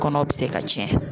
Kɔnɔ bɛ se ka tiɲɛ